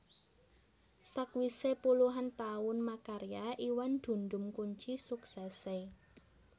Sakwisé puluhan taun makarya Iwan dundum kunci suksèsé